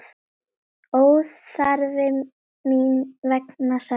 Óþarfi mín vegna, sagði hann.